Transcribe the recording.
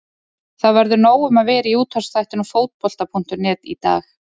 Það verður nóg um að vera í útvarpsþættinum Fótbolta.net í dag.